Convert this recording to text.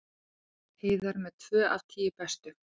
Heiðar með tvö af tíu bestu